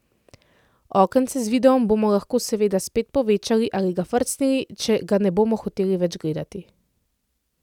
Okence z videom bomo lahko seveda spet povečali ali ga frcnili, če ga ne bomo hoteli več gledati.